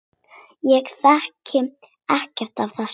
Ég þekki ekkert af þessu.